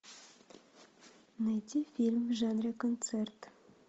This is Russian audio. найти фильм в жанре концерт